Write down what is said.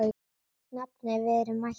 Nafni, við erum mættir